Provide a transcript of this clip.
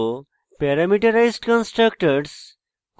parameterized constructors